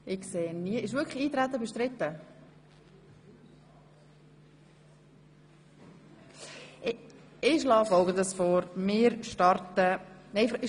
– Es ist mir nicht klar geworden, ob das Eintreten bestritten ist.